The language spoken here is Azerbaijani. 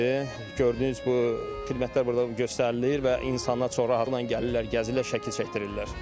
Gördüyünüz bu xidmətlər burda göstərilir və insanlar çox rahatlıqla gəlirlər, gəzirlər, şəkil çəkdirirlər.